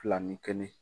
Fila ni kelen